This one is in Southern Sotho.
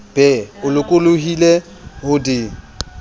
be o lokollohile ho di